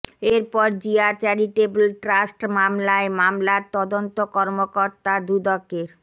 এরপর Zia charitable trust মামলায় মামলার তদন্ত কর্মকর্তা দুদকের